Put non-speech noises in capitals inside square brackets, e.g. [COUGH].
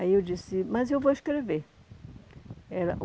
Aí eu disse, mas eu vou escrever. [UNINTELLIGIBLE]